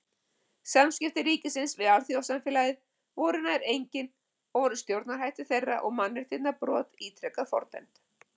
Samskipti ríkisins við alþjóðasamfélagið voru nær engin og voru stjórnarhættir þeirra og mannréttindabrot ítrekað fordæmd.